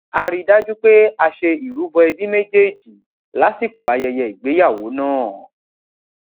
a ri dájú pé a ṣe ìrubo ẹbí méjèèjì lásìkò ayẹyẹ ìgbéyàwó náà